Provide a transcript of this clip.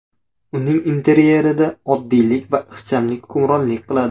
Uning interyerida oddiylik va ixchamlik hukmronlik qiladi.